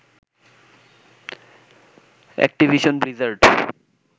Activision Blizzard